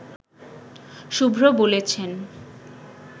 শুভ্র বলেছেন